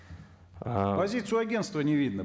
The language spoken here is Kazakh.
ыыы позицию агенства не видно